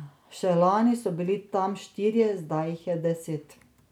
Še lani so bili tam štirje, zdaj jih je deset.